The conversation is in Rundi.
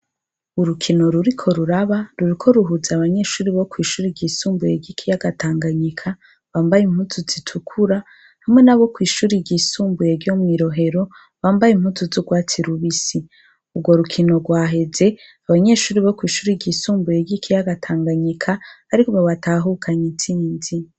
Urukino ruriko ruraba, ruriko ruhuza abanyeshure bo kw'ishuri ryisumbuye ryikiyaga Tanganyika, bambaye impuzu zitukura hamwe nabo kw'ishure ryisumbuye ryo mwi Rohero bambaye impuzu z'urwatsi rubisi. Urwo rukino rwaheze, abanyeshuri bo kw'ishure ryisumbuye ry'ikiyaga Tanganyika aribo batahukana itsinzi.